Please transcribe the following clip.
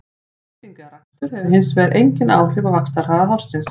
Klipping eða rakstur hefur hins vegar engin áhrif á vaxtarhraða hársins.